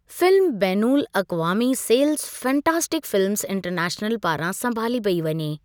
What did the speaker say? Film बैनुल अक़वामी सेल्ज़ि फैंटास्टिक फिल्मज़ इंटरनैशनल पारां संभाली पेई वञे।